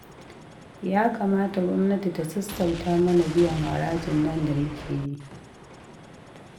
Ya kamata gwamnati ta sassauta mana biyan harajin nan da muke yi